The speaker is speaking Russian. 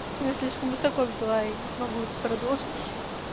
я слишком высоко взяла я не смогу продолжить